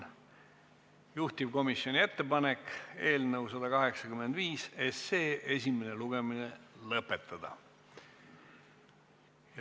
Juhtivkomisjoni ettepanek on eelnõu 185 esimene lugemine lõpetada.